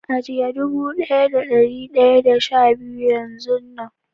ajiye dubu daya da dari daya da sha biyu Yan zun Nan.